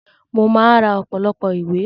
Mo máa ra ọ̀pọ̀lọpọ̀ ìwé